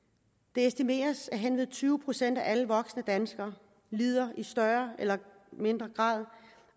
det estimeres at hen ved tyve procent af alle voksne danskere lider i større eller mindre grad